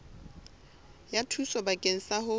ya thuso bakeng sa ho